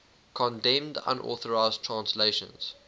condemned unauthorized translations